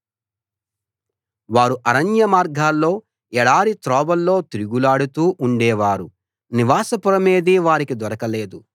వారు అరణ్యమార్గాల్లో ఎడారి త్రోవల్లో తిరుగులాడుతూ ఉండే వారు నివాస పురమేదీ వారికి దొరకలేదు